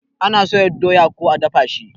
Ana soya doya ko a dafa shi